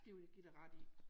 Det vil jeg give dig ret i